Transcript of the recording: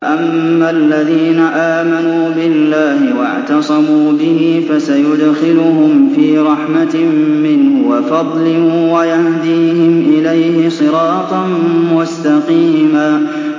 فَأَمَّا الَّذِينَ آمَنُوا بِاللَّهِ وَاعْتَصَمُوا بِهِ فَسَيُدْخِلُهُمْ فِي رَحْمَةٍ مِّنْهُ وَفَضْلٍ وَيَهْدِيهِمْ إِلَيْهِ صِرَاطًا مُّسْتَقِيمًا